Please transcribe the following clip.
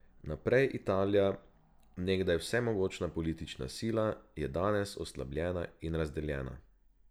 Naprej Italija, nekdaj vsemogočna politična sila, je danes oslabljena in razdeljena.